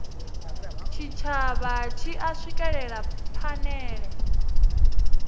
tshitshavha tshi a swikelela phanele